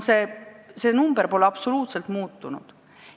See summa pole absoluutselt muutunud!